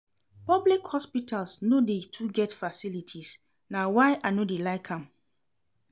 Public hospitals no dey too get facilities na why I no dey like am.